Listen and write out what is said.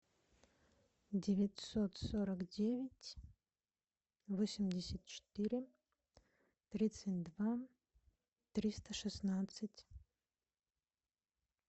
девятьсот сорок девять восемьдесят четыре тридцать два триста шестнадцать